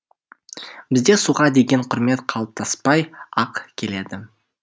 бізде суға деген құрмет қалыптаспай ақ келеді